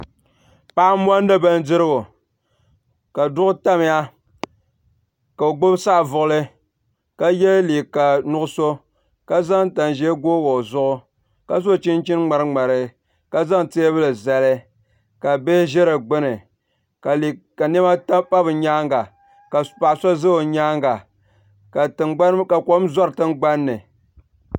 Paɣa m mondi bindirigu ka duɣu tamya ka o gbibi saɣavuɣuli ka ye liiga nuɣuso ka zaŋ tanʒee googi o zuɣu ka so chinchini ŋmari ŋmari ka zaŋ teebuli zali ka bihi ʒɛ di gbini ka niɛma pa bɛ nyaanga ka paɣa so za o nyaanga ka kom zori tingbanni.